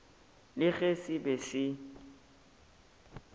le ge se be se